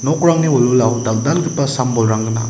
nokrangni wilwilao dal·dalgipa sam-bolrang gnang.